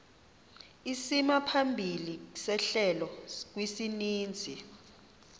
isimaphambili sehlelo kwisininzi